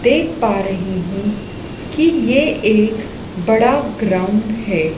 देख पा रही हु कि ये एक बड़ा ग्राउंड है।